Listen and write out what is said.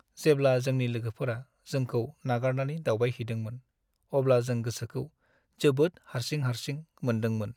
जेब्ला जोंनि लोगोफोरा जोंखौ नागारनानै दावबायहैदोंमोन, अब्ला जों गोसोखौ जोबोद हारसिं-हारसिं मोनदोंमोन।